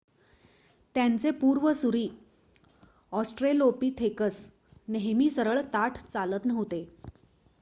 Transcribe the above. त्यांचे पूर्वसुरी, ऑस्ट्रेलोपिथेकस नेहमी सरळ ताठ चालत नव्हते,